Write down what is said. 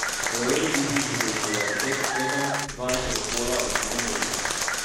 V evroligi bodo izpeljali pet tekem dvanajstega kola v drugem delu.